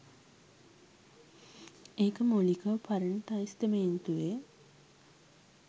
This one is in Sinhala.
ඒක මූලිකව පරණ තෙස්තමේන්තුවෙ.